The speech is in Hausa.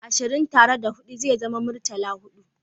Ashirin tare da hudu ze zama muritala-hudu